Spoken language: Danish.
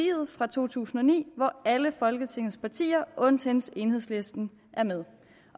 fra to tusind og ni hvor alle folketingets partier undtagen enhedslisten er med